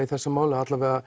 í þessu máli